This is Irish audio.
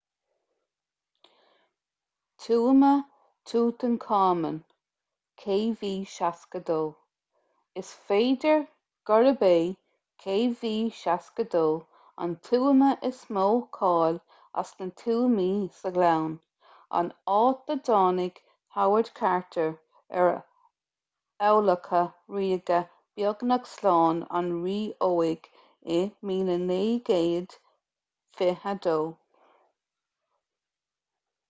tuama thútancáman kv62. is féidir gurb é kv62 an tuama is mó cáil as na tuamaí sa ghleann an áit a dtáinig howard carter ar adhlacadh ríoga beagnach slán an rí óig i 1922